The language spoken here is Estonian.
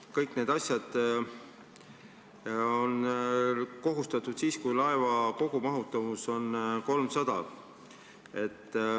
Kõik need asjad on kohustuslikud siis, kui laeva kogumahutavus on 300.